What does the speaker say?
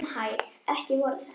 Bíðum hæg. ekki voru þetta?